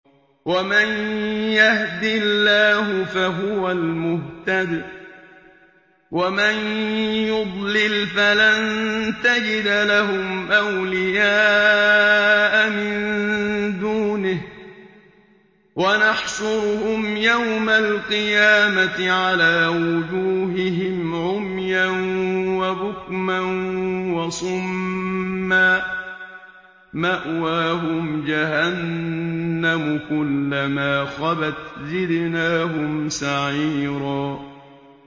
وَمَن يَهْدِ اللَّهُ فَهُوَ الْمُهْتَدِ ۖ وَمَن يُضْلِلْ فَلَن تَجِدَ لَهُمْ أَوْلِيَاءَ مِن دُونِهِ ۖ وَنَحْشُرُهُمْ يَوْمَ الْقِيَامَةِ عَلَىٰ وُجُوهِهِمْ عُمْيًا وَبُكْمًا وَصُمًّا ۖ مَّأْوَاهُمْ جَهَنَّمُ ۖ كُلَّمَا خَبَتْ زِدْنَاهُمْ سَعِيرًا